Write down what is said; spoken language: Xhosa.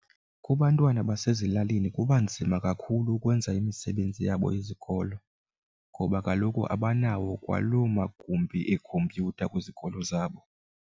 Kubantwana basezilalini kuba nzima kakhulu ukwenza imisebenzi yabo yezikolo ngoba kaloku abanawo kwalo magumbi ekhompyutha kwizikolo zabo.